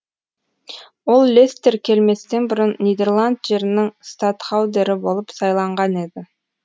ол лестер келместен бұрын нидерланд жерінің статхаудері болып сайланған еді